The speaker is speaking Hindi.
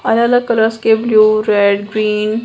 अलग-अलग कलर्स के ब्लू रेड ग्रीन --